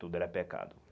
Tudo era pecado.